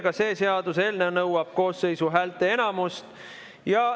Ka see seaduseelnõu nõuab koosseisu häälteenamust.